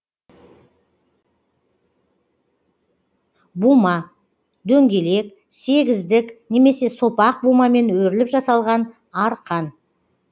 бума дөңгелек сегіздік немесе сопақ бумамен өріліп жасалған арқан